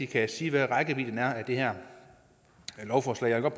kan sige hvad rækkevidden er af det her lovforslag jeg vil